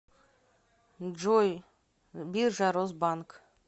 джой биржа росбанк